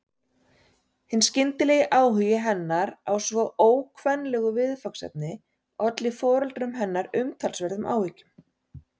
Hinn skyndilegi áhugi hennar á svo ókvenlegu viðfangsefni olli foreldrum hennar umtalsverðum áhyggjum.